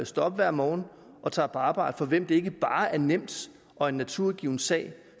står op hver morgen og tager på arbejde for hvem det ikke bare er nemt og en naturgiven sag